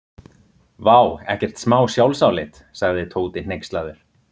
Vá, ekkert smá sjálfsálit sagði Tóti hneykslaður.